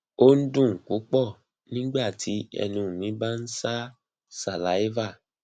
o n dun pupọ nigbati ẹnu mi ba n ṣa saliva